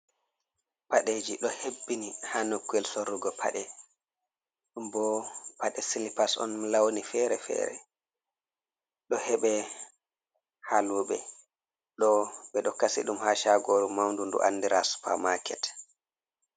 Paɗeji ɗo hebbini ha nokkuyel sorrugo paɗe, ɗumbo paɗe silipas on launi fere fere, ɗo heɓe haluɓe, ɗo ɓeɗo kasi ha shagoru maundu ndu andira supamaket.